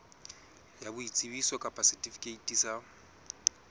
ya boitsebiso kapa setifikeiti sa